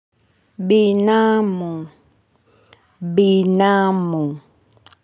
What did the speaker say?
Binamu. Binamu.